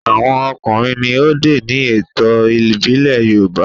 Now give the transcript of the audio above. àwọn ọkùnrin ní òde ní ètò ìbílè yoruba